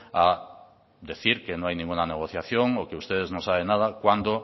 a decir que no hay ninguna negociación o que ustedes no saben nada cuando